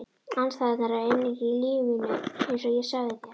Andstæðurnar eru eining í lífi mínu einsog ég sagði þér.